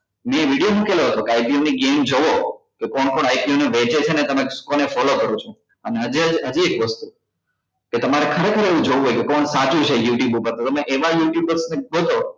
મે video મુકેલો હતો કે IBA ની game જોવો કે કોણ કોણ IBA ને તમે કોને follow કરો છો અને હજે જ હજુ એક વસ્તુ કે તમારે ખરેખર એવુ જોવું છે કે કોણ સાચું છે youtube ઉપર તો તમે એવા youtubers ને ગોતો